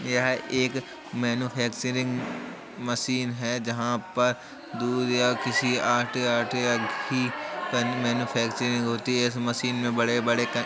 यह एक manufacturing machine हैं जहां पर दूध या किसी आटे-आटे कि ही मैन्यफैक्चरिंग होती है। इस मशीन में बड़े-बड़े --